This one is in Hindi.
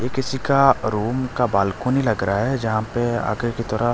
ये किसी का रूम का बालकनी लग रहा है जहां पे आगे की तरह--